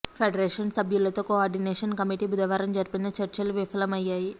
federation సబ్యులతో coordination committee భుధవారం జరిపిన చర్చలు విఫలమయ్యాయి